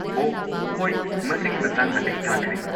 ꯑꯣꯍ ꯍꯣꯏ ꯃꯁꯤꯒꯤ ꯃꯇꯥꯡꯗ ꯑꯩ ꯇꯥꯈ꯭ꯔꯦ꯫